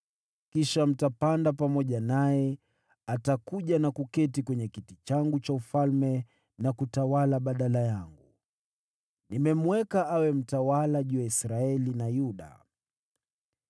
Kisha mtapanda pamoja naye, atakuja na kuketi kwenye kiti changu cha ufalme na kutawala badala yangu. Nimemweka awe mtawala juu ya Israeli na Yuda.”